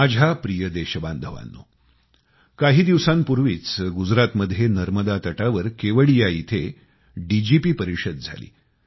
माझ्या प्रिय देशबांधवांनो काही दिवसांपूर्वीच गुजरातमध्ये नर्मदातटावर केवडिया येथे डीजीपी परिषद झाली